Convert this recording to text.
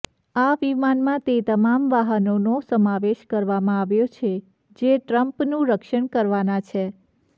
આ વિમાનમાં તે તમામ વાહનોનો સમાવેશ કરવામાં આવ્યો છે જે ટ્રમ્પનું રક્ષણ કરવાના છે